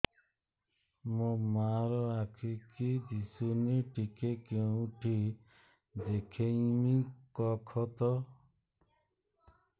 ମୋ ମା ର ଆଖି କି ଦିସୁନି ଟିକେ କେଉଁଠି ଦେଖେଇମି କଖତ